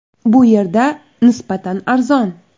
Bu yerda nisbatan arzon.